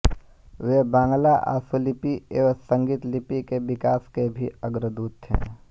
वे बांग्ला आशुलिपि एवं संगीतलिपि के विकास के भी अग्रदूत थे